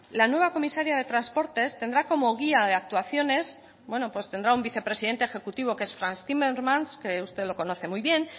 la nueva comisaria de transportes tendrá como guía de actuaciones bueno pues tendrá un vicepresidente ejecutivo que es frans timmermans que usted lo conoce muy bien